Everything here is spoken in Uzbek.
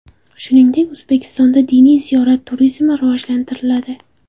Shuningdek, O‘zbekistonda diniy ziyorat turizmi rivojlantiriladi .